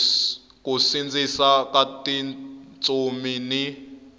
ku sindzisa ka tintsumi ni